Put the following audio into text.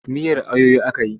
Miyar ayoyo aka yi.